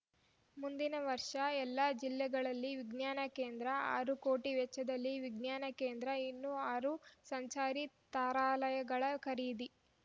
ಮುಂದಿನ ವರ್ಷ ಎಲ್ಲಾ ಜಿಲ್ಲೆಗಳಲ್ಲಿ ವಿಜ್ಞಾನ ಕೇಂದ್ರ ಆರು ಕೋಟಿ ವೆಚ್ಚದಲ್ಲಿ ವಿಜ್ಞಾನ ಕೇಂದ್ರ ಇನ್ನೂ ಆರು ಸಂಚಾರಿ ತಾರಾಲಯಗಳ ಖರೀದಿ